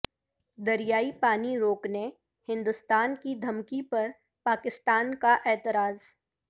دریائی پانی روکنے ہندوستان کی دھمکی پر پاکستان کا اعتراض